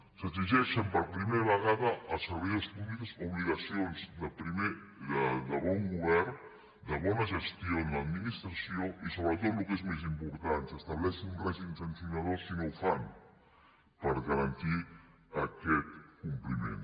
s’exigeixen per primera vegada als servidors públics obligacions de bon govern de bona gestió en l’administració i sobretot el que és més important s’estableix un règim sancionador si no ho fan per garantir aquest compliment